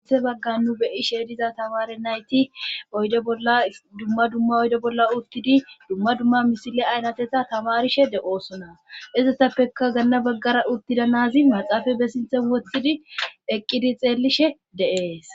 ute bagga nu beyi sheediza tawaare nayti ddumma dumma oydo bolla uttidi dumma dumma misile aynateta tamarishe de7oosona izetappekka ganna baggara uttida nazi maxaafa bessinthe wothidi eqqidi xeellishe de7ees